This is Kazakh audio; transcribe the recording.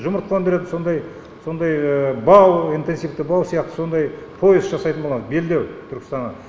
жұмыртқа өндіретін сондай сондай бау интенсивті бау сияқты сондай пояс жасайтын боламыз белдеу түркістанға